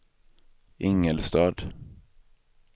Ingelstad